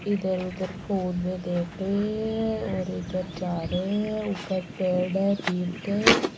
इधर उधर फोन में देख रहे है और इधर जा रहे है ऊपर पेड़ है टीम के --